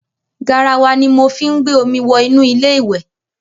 Garawa ni mo fí ń gbé omi wọ inú ilé ìwẹ̀.